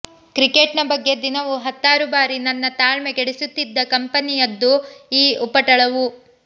cricket ನ ಬಗ್ಗೆ ದಿನವೂ ಹತ್ತಾರು ಬಾರಿ ನನ್ನ ತಾಳ್ಮೆ ಗೆಡಿಸುತ್ತಿದ್ದ ಕಂಪನಿಯದ್ದು ಈ ಉಪಟಳವು